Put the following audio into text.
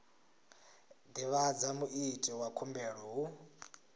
divhadza muiti wa khumbelo hu